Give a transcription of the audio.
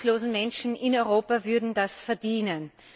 Die arbeitslosen Menschen in Europa würden das verdienen.